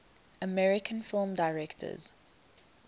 american film directors